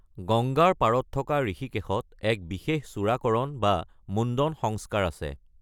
গংগাৰ পাৰত থকা ঋষিকেশত এক বিশেষ চুদাকাৰন বা মুণ্ডন সংস্কাৰ আছে।